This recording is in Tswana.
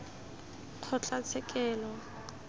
kgotlatshekelo